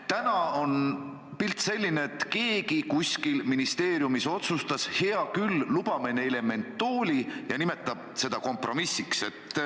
Praegu on pilt selline, et keegi kuskil ministeeriumis otsustas, et hea küll, lubame neile mentooli, ja nimetab seda kompromissiks.